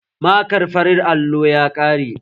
Markar farin allon ya ƙare